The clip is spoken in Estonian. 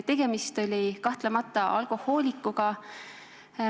Tegemist oli kahtlemata alkohoolikuga.